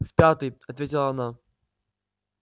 в пятый ответила она